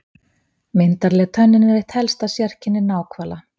Myndarleg tönnin er eitt helsta sérkenni náhvala.